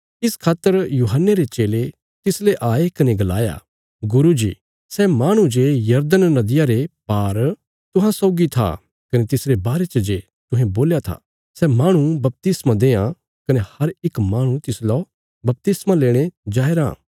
इस खातर यूहन्ने रे चेले तिसले आये कने गलाया गुरू जी सै माहणु जे यरदन नदिया रे पार तुहां सौगी था कने तिसरे बारे च जे तुहें गल्ल कित्ती थी सै माहणु बपतिस्मा देआं कने हर इक माहणु तिसलौ बपतिस्मा लेणे जाया रां